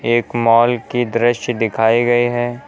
एक मॉल के दृश्य दिखाए गए हैं।